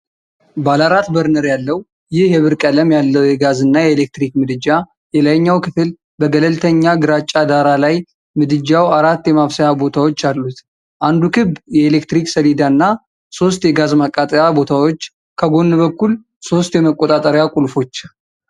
ባለአራት በርነር ያለው ይህ የብር ቀለም ያለው የጋዝ እና የኤሌክትሪክ ምድጃ የላይኛው ክፍል በገለልተኛ ግራጫ ዳራ ላይ ምድጃው አራት የማብሰያ ቦታዎች አሉት-አንዱ ክብ የኤሌክትሪክ ሰሌዳ እና ሦስት የጋዝ ማቃጠያ ቦታዎች፣ ከጎን በኩል ሶስት የመቆጣጠሪያ ቁልፎች።